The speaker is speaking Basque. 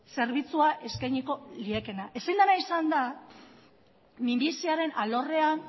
zerbitzua eskainiko liekeena ezin dena izan da minbiziaren alorrean